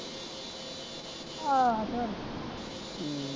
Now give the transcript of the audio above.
ਆਹੋ ਹਮ